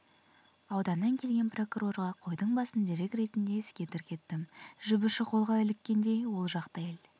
ауданнан келген прокурорға қойдың басын дерек ретінде іске тіркеттім жіп ұшы қолға іліккендей ол жақта ел